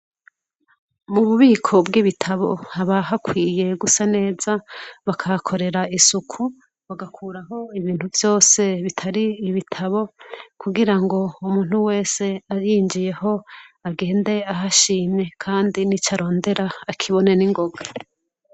Mububiko bwibitabo haba hakwiye gusa neza bakahakorera isuku bagakuraho ibintu vyose bitari ibitabo kugirango umuntu wese ahinjiyeho agende ahashimwe kandi nicarondera akibone ningoga